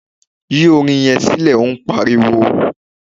Yín orin yẹn sílẹ̀ óún pariwo!